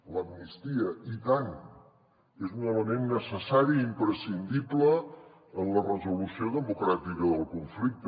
l’amnistia i tant és un element necessari i imprescindible en la resolució democràtica del conflicte